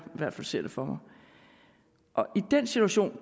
ser det for mig og i den situation